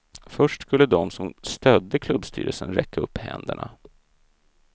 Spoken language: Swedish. Först skulle de som stödde klubbstyrelsen räcka upp händerna.